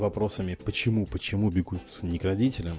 вопросами почему почему бегут не к родителям